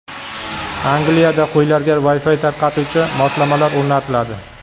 Angliyada qo‘ylarga Wi-Fi tarqatuvchi moslamalar o‘rnatiladi.